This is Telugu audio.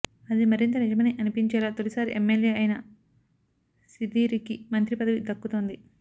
అది మరింత నిజమని అనిపించేలా తొలిసారి ఎమ్మెల్యే అయినా సీదిరికి మంత్రి పదవి దక్కుతోంది